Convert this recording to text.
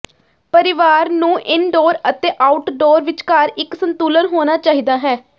ਪਰਿਵਾਰ ਨੂੰ ਇਨਡੋਰ ਅਤੇ ਆਊਟਡੋਰ ਵਿਚਕਾਰ ਇੱਕ ਸੰਤੁਲਨ ਹੋਣਾ ਚਾਹੀਦਾ ਹੈ